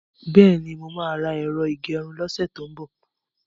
Bẹ́ẹ̀ni, mo ṣì máa ra ẹ̀rọ ìgẹrun lọ́sẹ̀ tó ń bò.